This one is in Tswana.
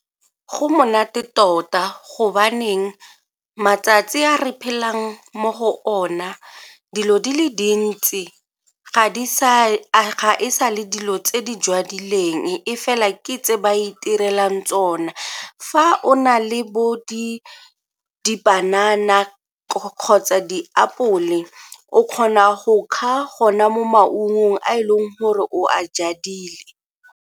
Go monate tota gobaneng matsatsi a re phelang mo go ona dilo di le dintsi ga di sa le dilo tse di jadileng e fela ke tse di a itirelang tsone. Fa o na le bo dibanana kgotsa diapole o kgona go kga gona mo maungong a e leng gore o a jadile.